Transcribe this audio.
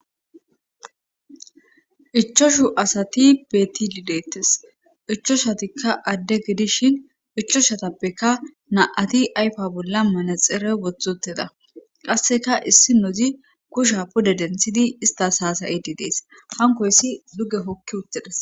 ichashu asati beetilidettes ichoshatikka adde gidishin ichoshatappeka na7ati ayfa bolla mane xere wothoteda qasseka issi nozi kusha pode denthidi istas haasayidi dees hankoyssi duge hokki uttedes